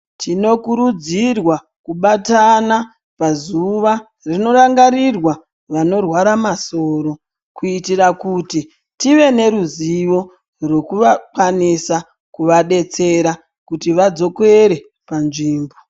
Tinokurudzirwa kubatana pazuva rinorangarirwa vanorwara masoro kuitira kuti tive neruzivo rwekuvakwanisa kuvadetsera kuti vadzokere panzvimbo.